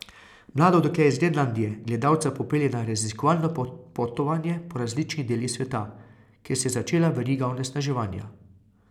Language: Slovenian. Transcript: Mlado dekle z Grenlandije gledalca popelje na raziskovalno popotovanje po različnih delih sveta, kjer se je začela veriga onesnaževanja.